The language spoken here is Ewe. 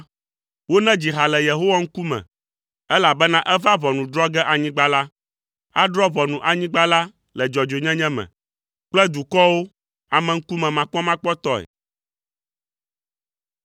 Wonedzi ha le Yehowa ŋkume, elabena eva ʋɔnu drɔ̃ ge anyigba la. Adrɔ̃ ʋɔnu anyigba la le dzɔdzɔenyenye me kple dukɔwo ameŋkumemakpɔmakpɔtɔe.